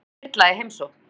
Fullkomin þyrla í heimsókn